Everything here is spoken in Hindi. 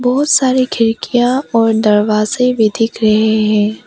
बहोत सारे खिड़कियां और दरवाजे भी दिख रहे हैं।